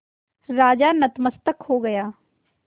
राजा नतमस्तक हो गया